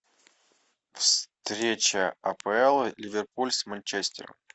встреча апл ливерпуль с манчестером